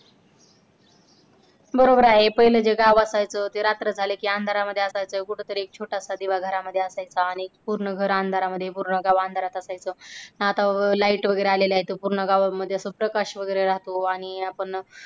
बरोबर आहे पहिल्या जे गावात असायचं ते रात्र झाले की अंधारात मध्ये असायचं कुठेतरी छोटासा दिवा घरामध्ये असायचा आणि पूर्ण घर अंधारामध्ये पूर्ण गाव अंधारात असायचं हा तव light वगैरे आलेली आहे गावामध्ये तवा पूर्ण गावामध्ये प्रकाश वगैरे राहतो आणि आपण